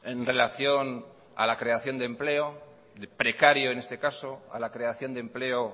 en relación a la creación de empleo precario en este caso a la creación de empleo